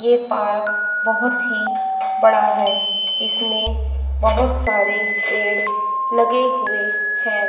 ये पार्क बहोत ही बड़ा है इसमें बहोत सारे पेड़ लगे हुए हैं।